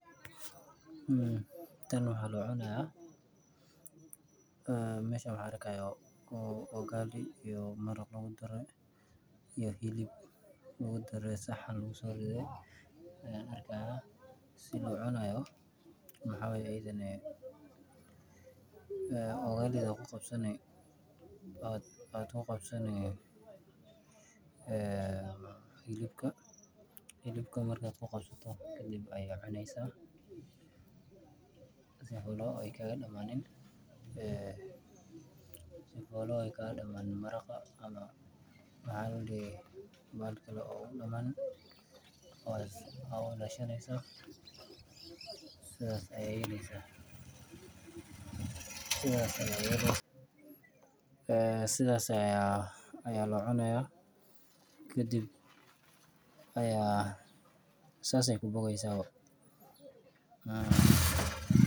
Tan wax aloocunaya meesha waxaan arkayaa ugali iyo maraq lagudare iyo hilib lagudare saxan lagusooridhe sii loocunayo maxaawaye ugali dha aa kuqabsane hilibka hilibka markaad kuqabsato kadib ayaa cuneysa sifolo kagadamaanin maraqa ama maxa ladihi bahal kale ogadamanin aa uilaashaneysa sidhaad ayaa yeeleysa. Sidhas ayaa loocunaya kadib aya sas ey kubogeysa.